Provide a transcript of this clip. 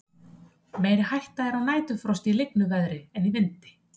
Meiri hætta er á næturfrosti í lygnu veðri en í vindi.